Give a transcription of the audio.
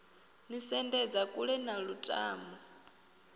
ni sendedza kule na lutamo